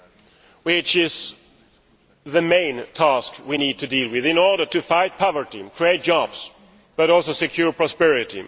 That is the main task we need to deal with in order to fight poverty and create jobs, but also to secure prosperity.